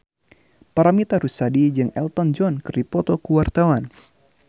Paramitha Rusady jeung Elton John keur dipoto ku wartawan